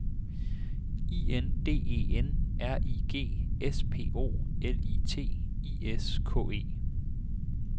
I N D E N R I G S P O L I T I S K E